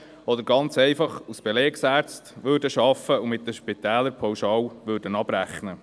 Oder sie würden ganz einfach als Belegärzte arbeiten und mit den Spitälern pauschal abrechnen.